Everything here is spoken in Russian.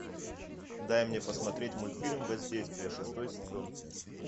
дай мне посмотреть мультфильм воздействие шестой сезон